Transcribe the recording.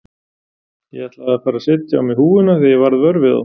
Ég ætlaði að fara að setja á mig húfuna þegar ég varð vör við þá.